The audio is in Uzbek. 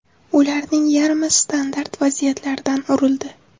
Ularning yarmi standart vaziyatlardan urildi.